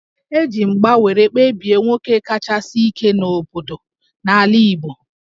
E ji mgba were kpebie nwoke kachasi ike n'obodo n'ala Igbo